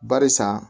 Barisa